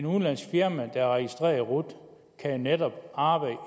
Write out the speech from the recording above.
udenlandsk firma der er registreret i rut kan jo netop arbejde